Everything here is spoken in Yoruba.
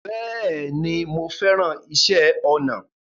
Bẹ́ẹ̀ni, mo fẹ́ràn iṣẹ́ ọnà